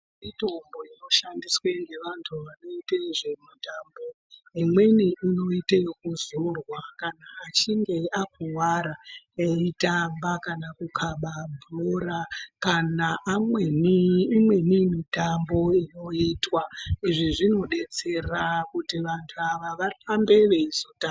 Mitombo inoshandiswe ngevantu vanoite nezvemutambao, imweni inoite ekuzorwa kana achinge akuwara veitamba kana Kuna bhora kana amweni , imweni mitambo inoitwa izvi zvinodetsera kuti vantu ava varambe veizotamba.